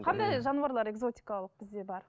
қандай жануарлар экзотикалық бізде бар